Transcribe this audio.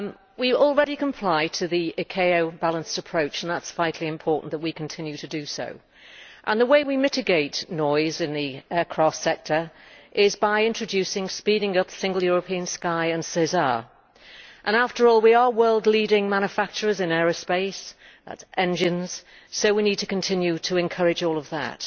We already comply with the ICAO balanced approach to aircraft noise and it is vitally important that we continue to do so. The way we can mitigate noise in the aircraft sector is by introducing and speeding up the Single European Sky and SESAR and, after all, we are world leading manufacturers in aerospace that is, engines so we need to continue to encourage all of that.